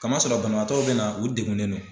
Kamasɔrɔ banabaatɔw bɛ na u degunnen no.